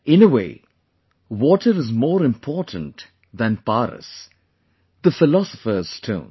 In a way, water is more important than PARAS, the philosopher's stone